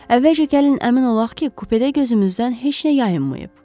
Əvvəlcə gəlin əmin olaq ki, kupedə gözümüzdən heç nə yayınmayıb.